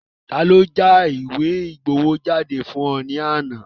Taani ó já ìwé ìgbowó jáde fún ọ ní àná?